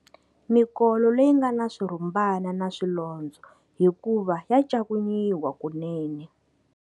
Mikolo leyi nga na swirhumbana na swilondzo hikuva ya ncakuniwa kunene.